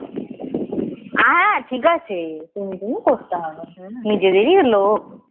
হ্যাঁ ঠিক আছে করতে হবে নিজেদেরই লোক